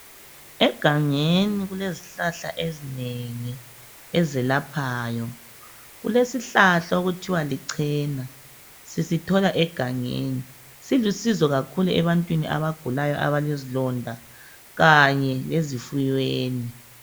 Egangeni kulezihlahla ezinengi ezelaphayo. Kulesihlahla okuthiwa lichena, sisithola egangeni. Silusizo kakhulu ebantwini abagulayo abalezilonda kanye lezifuyweni.